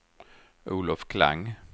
Olof Klang